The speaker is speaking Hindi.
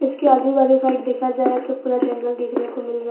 इसके आजू बाजू साइड देखा जाए तो पूरा जंगल देखने को मिल रा--